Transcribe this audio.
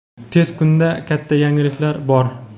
Tez kunda katta yangiliklar bor.